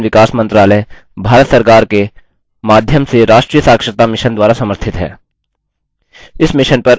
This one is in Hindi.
यह आईसीटी मानव संसाधन विकास मंत्रालय भारत सरकार के माध्यम से राष्ट्रीय साक्षरता mission द्वारा समर्थित है